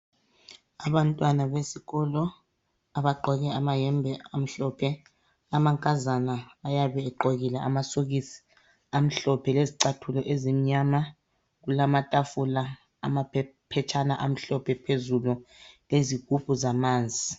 Abantwana besikolo abagqoke amayembe amhlophe, amankazana ayabe egqokile amasokisi amhlophe lezicathulo ezimnyama. Kulamatafula, amaphetshana amhlophe phezulu lezigubhu zamanzi.